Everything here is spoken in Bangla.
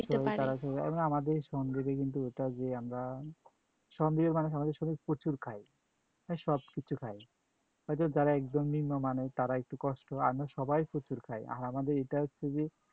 আমাদের কিন্তু এটাও যে আমরা প্রচুর খাই, মানে সবকিছু খাই, হয়তো যারা একদম নিম্নমানের তাদের একটু কস্ত, আর নয় সবাই প্রচুর খাই। আর আমাদের এটা হচ্ছে যে